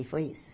E foi isso.